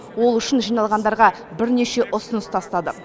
ол үшін жиналғандарға бірнеше ұсыныс тастады